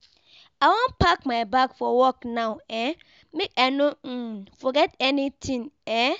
I wan pack my bag for work now um make I no um forget anytin. um